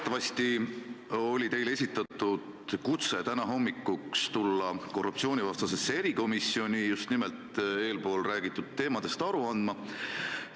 Teatavasti oli teile esitatud kutse tulla täna hommikul korruptsioonivastasesse erikomisjoni just nimelt eespool räägitud asjadest aru andma.